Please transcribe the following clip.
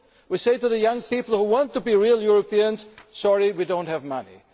We say to the young people who want to be real Europeans sorry, we do not have the money.